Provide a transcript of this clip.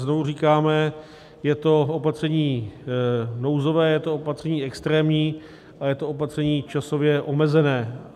Znovu říkáme, je to opatření nouzové, je to opatření extrémní a je to opatření časově omezené.